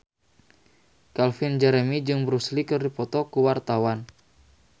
Calvin Jeremy jeung Bruce Lee keur dipoto ku wartawan